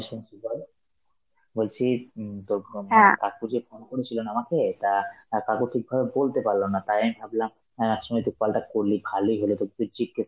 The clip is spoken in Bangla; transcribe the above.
শুনছি বল, বলছি উম তোর ভ~ কাকু যে phone করেছিল না আমাকে, তা আঁ কাকু ঠিকভাবে বলতে পারল না, তাই আমি ভাবলাম অ্যাঁ সুনি তুই call টা করলি, ভালোই হলো তোকে জিজ্ঞেস